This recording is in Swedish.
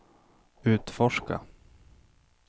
utforska